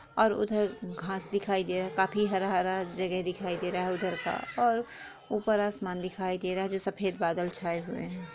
और उधर घास दिखाई दे रहा है काफी हरा हरा जगह दिखाई दे रहा है उधर का और ऊपर आसमान दिखाई दे रहा है जो सफ़ेद बादल छाए हुए है।